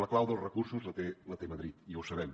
la clau dels recursos la té madrid i ho sabem